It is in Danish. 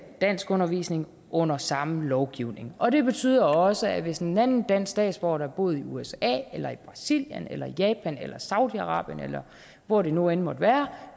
danskundervisning under samme lovgivning og det betyder også at hvis en anden dansk statsborger der har boet i usa eller i brasilien eller i japan eller i saudi arabien eller hvor det nu end måtte være